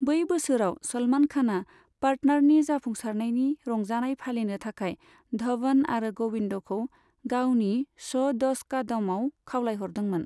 बै बोसोराव सलमान खाना 'पार्टनार'नि जाफुंसारनायनि रंजानाय फालिनो थाखाय धवन आरो गबिन्दखौ गावनि श' 'दश का दम'आव खावलायहरदोंमोन।